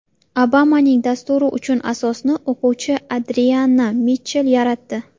Obamaning dasturi uchun asosni o‘quvchi Adrianna Mitchell yaratdi.